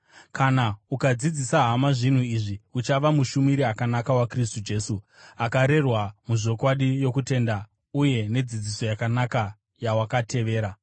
Kana ukadzidzisa hama zvinhu izvi, uchava mushumiri akanaka waKristu Jesu, akarerwa muzvokwadi yokutenda uye nedzidziso yakanaka yawakatevera.